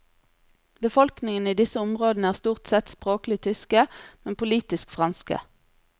Befolkningen i disse områdene er stort sett språklig tyske, men politisk franske.